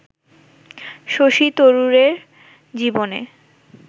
শশী তরুরের জীবনে